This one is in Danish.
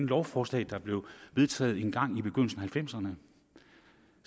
lovforslag der blev vedtaget en gang i begyndelsen halvfemserne